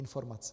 Informace.